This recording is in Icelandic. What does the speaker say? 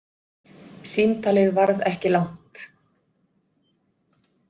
Símtalið varð ekki langt.